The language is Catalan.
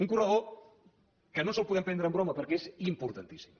un corredor que no ens el podem prendre en broma perquè és importantíssim